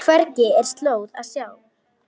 Hvergi er slóð að sjá.